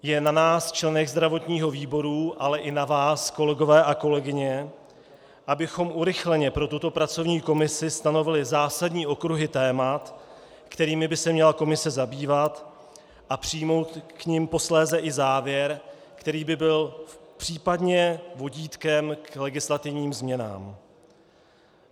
Je na nás, členech zdravotního výboru, ale i na vás, kolegové a kolegyně, abychom urychleně pro tuto pracovní komisi stanovili zásadní okruhy témat, kterými by se měla komise zabývat a přijmout k nim posléze i závěr, který by byl případně vodítkem k legislativním změnám.